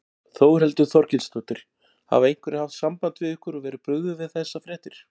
Þórhildur Þorkelsdóttir: Hafa einhverjir haft samband við ykkur og verið brugðið við þessar fréttir?